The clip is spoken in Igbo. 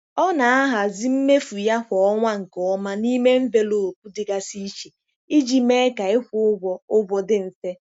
Ọ na-ahazi mmefu ya kwa ọnwa nke ọma n'ime envelopu dịgasị iche iji mee ka ịkwụ ụgwọ ụgwọ dị mfe.